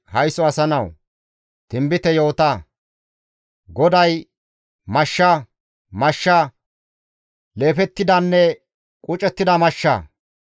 «Haysso asa nawu! Tinbite yoota; GODAY, ‹Mashsha! Mashsha, leefettidanne qucettida mashsha!